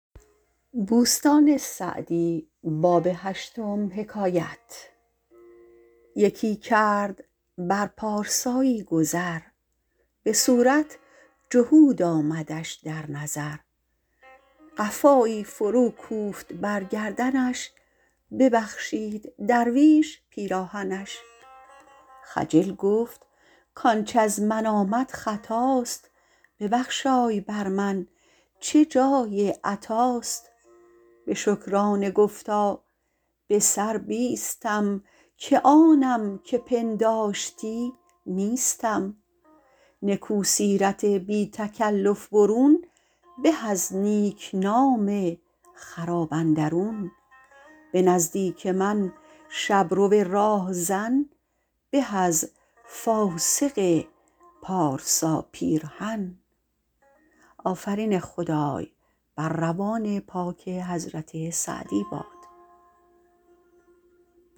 یکی کرد بر پارسایی گذر به صورت جهود آمدش در نظر قفایی فرو کوفت بر گردنش ببخشید درویش پیراهنش خجل گفت کانچ از من آمد خطاست ببخشای بر من چه جای عطاست به شکرانه گفتا به سر بیستم که آنم که پنداشتی نیستم نکو سیرت بی تکلف برون به از نیکنام خراب اندرون به نزدیک من شبرو راهزن به از فاسق پارسا پیرهن